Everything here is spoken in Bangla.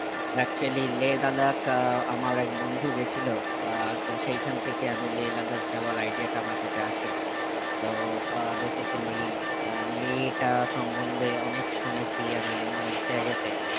actually লে লাদাখ আহ আমার এক বন্ধু গেছিলো আহ তো সেইখান থেকে আমি লে লাদাখ যাবার idea টা আমার কাছে আসে তো আহ basically আহ লে তা সমন্ধে অনেক শুনেছি আমি অনেক জায়গাতে